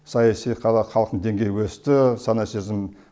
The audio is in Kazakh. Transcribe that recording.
саяси қазақ халықтың деңгейі өсті сана сезімі